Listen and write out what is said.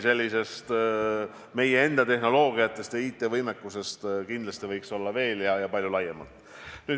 Neid meie enda tehnoloogilisi lahendusi ja IT-võimekust võiks veel laiemalt kasutada.